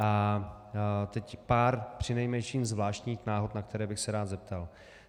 A teď pár přinejmenším zvláštních náhod, na které bych se rád zeptal.